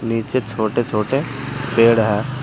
नीचे छोटे छोटे पेड़ है।